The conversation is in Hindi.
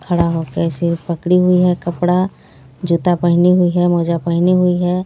खड़ा हो के ऐसे पकड़ी हुई है कपड़ा जूता पहनी हुई है मोजा पहनी हुई है।